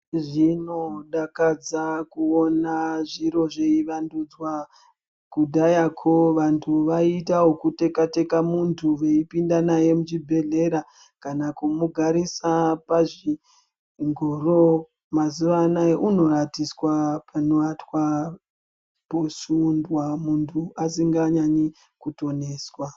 Zvinodakadza kuona zviro zveiwandudzwa kudhayakwo vantu vaitawu kuteka teka muntu veipinda naye muchibhedhlera kana kumugarisa pazvi zvingoro mazuwa anaya unowatiswa panowatwa posundwa muntu asikanyanyi kutoniswa.